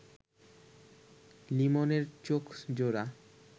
লিমনের চোখজোড়া